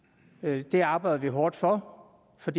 dag det er arbejder hårdt for for